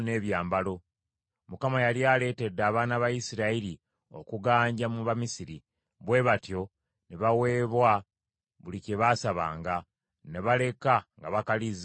Mukama yali aleetedde abaana ba Isirayiri okuganja mu Bamisiri, bwe batyo ne baweebwa buli kye baasabanga. Ne baleka nga bakalizza Abamisiri.